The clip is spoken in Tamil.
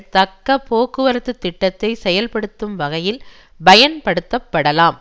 தக்க போக்குவரத்து திட்டத்தை செயல்படுத்தும் வகையில் பயன்படுத்தப்படலாம்